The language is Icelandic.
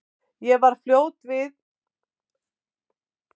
Ég varð fljótt var við að þar höfðu menn margvíslegar og misjafnar skoðanir.